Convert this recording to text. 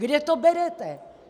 Kde to berete?